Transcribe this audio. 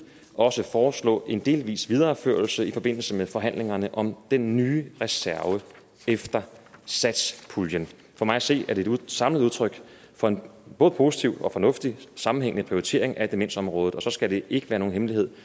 også foreslå en delvis videreførelse i forbindelse med forhandlingerne om den nye reserve efter satspuljen for mig at se er det et samlet udtryk for en både positiv og fornuftig sammenhængende prioritering af demensområdet og så skal det ikke være nogen hemmelighed